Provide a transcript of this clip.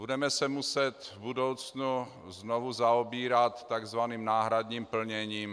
Budeme se muset v budoucnu znovu zaobírat tzv. náhradním plněním.